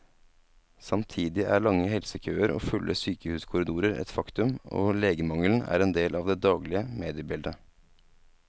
Samtidig er lange helsekøer og fulle sykehuskorridorer et faktum, og legemangelen er en del av det daglige mediebildet.